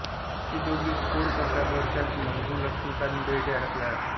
ते दोघे घोळ करतात व त्यात मंगू लक्ष्मीकांत बेर्डे अडकला जातो